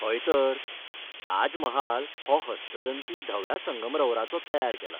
हयतर. ताज महाल हो हस्तदंती धव्या संगमरवराचो तयार केला.